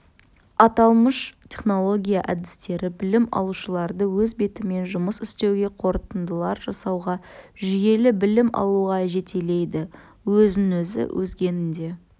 аталмыш технология әдістері білім алушыларды өз бетімен жұмыс істеуге қорытындылар жасауға жүйелі білім алуға жетелейді өзін-өзі өзгені де